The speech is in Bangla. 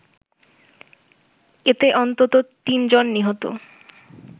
এতে অন্তত তিন জন নিহত